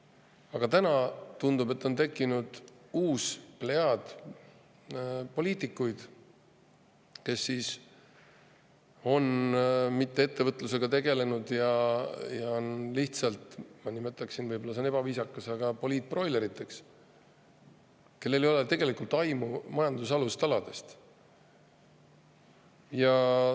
Aga nüüd tundub, et on tekkinud uus plejaad poliitikuid, kes ei ole ettevõtlusega tegelenud ja on lihtsalt – ma nimetaksin nii, kuigi see on võib-olla ebaviisakas – poliitbroilerid, kellel ei ole tegelikult aimu majanduse alustaladest.